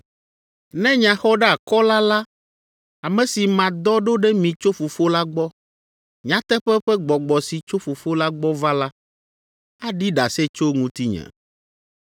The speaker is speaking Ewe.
“Ne Nyaxɔɖeakɔla la, ame si madɔ ɖo ɖe mi tso Fofo la gbɔ, nyateƒe ƒe Gbɔgbɔ si tso Fofo la gbɔ va la, aɖi ɖase tso ŋutinye.